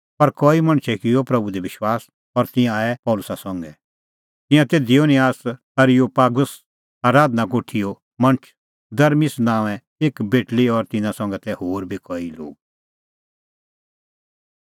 पर कई मणछै किअ प्रभू दी विश्वास और तिंयां आऐ पल़सी संघै तिंयां तै दियोनसियास एरियोपागुस आराधना कोठीओ मणछ दमरिस नांओंए एक बेटल़ी और तिन्नां संघै तै होर बी कई लोग